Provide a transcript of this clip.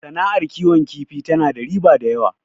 Sana'ar kiwon kifi tana da riba da yawa